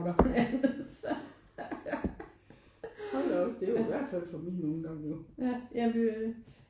Ej men altså hold da op det er jo i hvert fald fra min ungdom jo